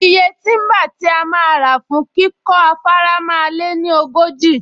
Iye tíḿbà tí a máa rà fún kíkọ́ afárá máa lé ní ogójì